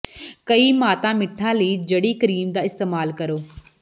ਕਈ ਮਾਤਾ ਮਿੱਠਾ ਲਈ ਜੜੀ ਕਰੀਮ ਦਾ ਇਸਤੇਮਾਲ ਕਰੋ